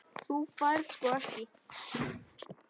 Þú færð sko ekki.